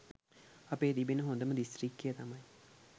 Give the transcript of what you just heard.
අපේ තිබෙන හොඳම දිස්ත්‍රික්කය තමයි